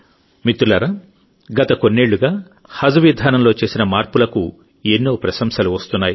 మిత్రులారాగత కొన్నేళ్లుగా హజ్ విధానంలో చేసిన మార్పులకు ఎన్నో ప్రశంసలు వస్తున్నాయి